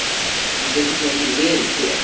Hann getur þó ekki verið hér!